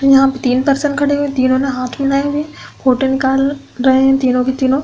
यहाँ पे तीन पर्सन खड़े हुए है। तीनो ने हाथ मिलाये हुए है। फोटो निकाल रहे के तीनो।